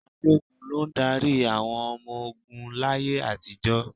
Balógun ló ń darí àwọn ọmọ ogún láyé àtijọ́.